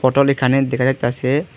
Bottle এখানে দেখা যাইতাসে।